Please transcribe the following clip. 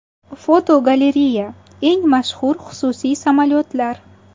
Fotogalereya: Eng mashhur xususiy samolyotlar.